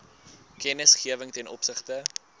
kennisgewing ten opsigte